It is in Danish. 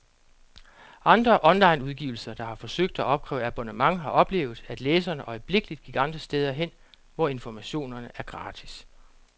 Andre onlineudgivelser, der har forsøgt at opkræve abonnement, har oplevet, at læserne øjeblikkeligt gik andre steder hen, hvor informationerne er gratis.